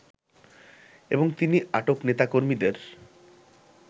এবং তিনি আটক নেতাকর্মীদের